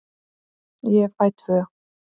Ég fæ tvö.